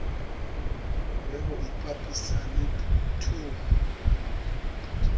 le ho ipapisa le thomo